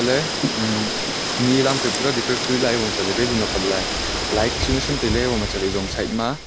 le um ni lam phai pura decorate kuri lae chatley balloon apat lai light chu nyaisham tailey iboma chatley izong side ma--